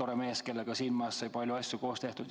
tore mees, kellega siin majas sai palju asju koos tehtud.